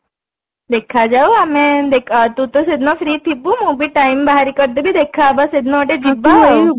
ଦେଖାଯାଉ ଆମେ ତୁତ ସେଦିନ free ଥିବୁ ମୁଁ ବି time ବାହାରି କରିଦେବି ଦେଖା ହବା ସେଦିନ ଗୋଟେ ଯିବା